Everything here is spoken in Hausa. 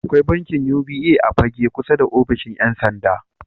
Akwai bankin UBA a Fagge kusa da offishin 'yansanda.